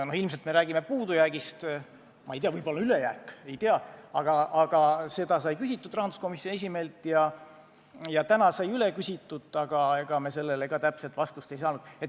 No ilmselt me räägime puudujäägist – ma ei tea, võib-olla on ülejääk –, seda sai küsitud rahanduskomisjoni esimehelt ja täna küsisime veel üle, aga ega me sellele ka täpset vastust ei saanud.